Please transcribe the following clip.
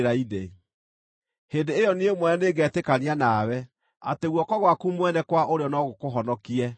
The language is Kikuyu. Hĩndĩ ĩyo niĩ mwene nĩngetĩkania nawe atĩ guoko gwaku mwene kwa ũrĩo no gũkũhonokie.